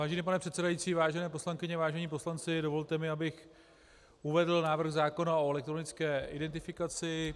Vážený pane předsedající, vážené poslankyně, vážení poslanci, dovolte mi, abych uvedl návrh zákona o elektronické identifikaci.